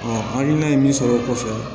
hakilina ye min sɔrɔ o kɔfɛ